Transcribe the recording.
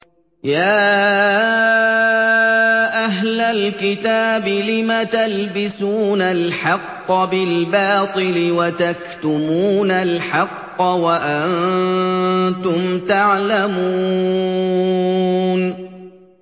يَا أَهْلَ الْكِتَابِ لِمَ تَلْبِسُونَ الْحَقَّ بِالْبَاطِلِ وَتَكْتُمُونَ الْحَقَّ وَأَنتُمْ تَعْلَمُونَ